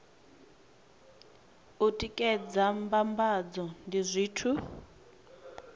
u tikedza mbambadzo ndi zwithu